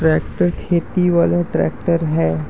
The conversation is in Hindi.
ट्रैक्टर खेती वाले ट्रैक्टर है|